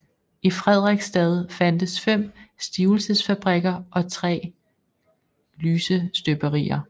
I Frederiksstad fandtes 5 stivelsesfabrikker og 3 lysestøberier